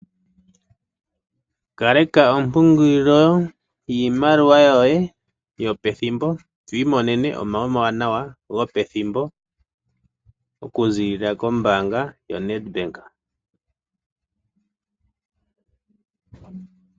Kaleka ontungilo yimaliwa yoye yopethimbo etu imonene omawi omawanawa gopethimbo okuzilila kombanga yoNetbank.